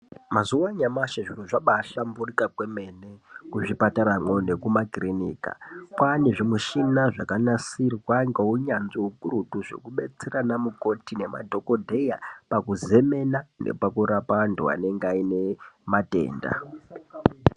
Mazuva anyamashi zviro zvabaahlamburuka kwemene kuzvipataramwo nekumakirinika. Kwaane zvimuchina zvakanasirwa ngounyanzvi hukurutu zvokubetsera anamukoti nemadhogodheya pakuzemena nepakurapa antu anenge aine matenda.